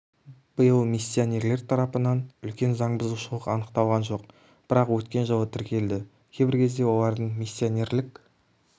биыл миссионерлер тарапынан үлкен заң бұзушылық анықталған жоқ бірақ өткен жылы тіркелді кейбір кезде олардың миссионерлік